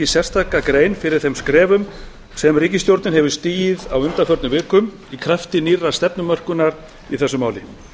sérstaka grein fyrir þeim skrefum sem ríkisstjórnin hefur stigið á undanförnum vikum í krafti nýrrar stefnumörkunar í þessu máli